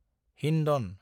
Hindon